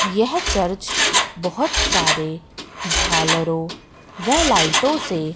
यह चर्च बहोत सारे झालरों व लाइटों से--